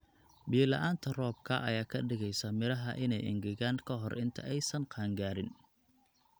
Biyo la'aanta roobka ayaa ka dhigaysa midhaha in ay engegaan ka hor inta aysan qaan gaarin.